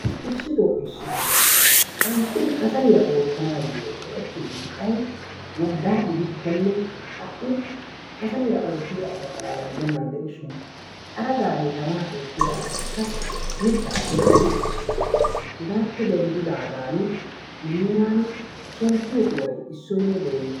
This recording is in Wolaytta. Issito issitoo qanxxidi kasaliyaa oottanayoo go"ettiyoo mittay woggaa gidikkonne ha"i qassi kasaliyaa oottiyaa asa xalaala gidenandiishin xaraqaan tamaa ettiyaa asaykka mittaa wurssiichchiis. Hegaappe denddigaan nu heeran shemppiyoo kuway issoynne deenna.